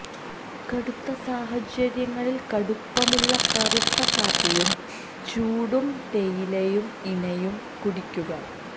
കടുത്ത സാഹചര്യങ്ങളിൽ കടുപ്പമുള്ള കറുത്ത കാപ്പിയും ചൂടും തേയിലയും ഇണയും കുടിക്കുക